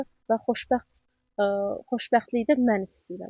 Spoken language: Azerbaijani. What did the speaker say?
Və xoşbəxt, xoşbəxtliyi də mən istəyirəm.